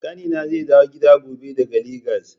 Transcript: Ƙanina zai dawo gida gobe daga Legas.